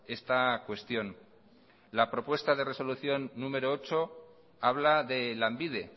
esta cuestión lapropuesta de resolución número ocho habla de lanbide